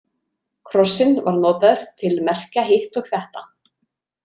Krossinn var notaður til merkja hitt og þetta.